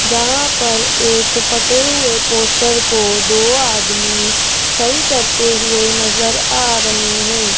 जहां पर एक फटे हुए पोस्टर को दो आदमी सही करते हुए नजर आ रहे हैं।